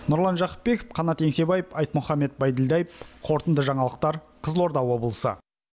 нұрлан жақыпбеков қанат еңсебаев айтмұхамед байділдаев қорытынды жаңалықтар қызылорда облысы